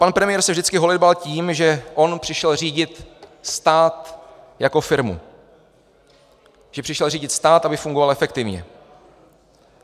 Pan premiér se vždycky holedbal tím, že on přišel řídit stát jako firmu, že přišel řídit stát, aby fungoval efektivně.